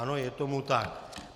Ano, je tomu tak.